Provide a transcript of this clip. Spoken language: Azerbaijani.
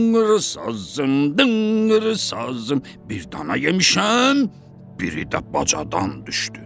Dınqır sazım, dınqır sazım, bir dana yemişəm, biri də bacadan düşdü.